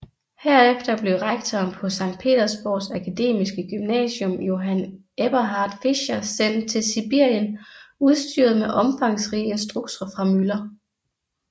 Herefter blev rektoren på Sankt Petersborgs akademiske gymnasium Johann Eberhart Fischer sendt til Sibirien udstyret med omfangsrige instrukser fra Müller